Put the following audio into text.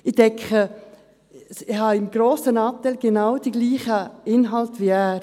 Ich denke, ich habe zu einem grossen Teil die genau gleichen Inhalte wie er.